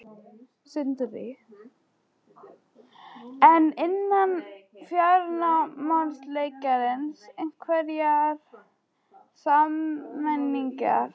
Sindri: En innan fjármálageirans, einhverjar sameiningar?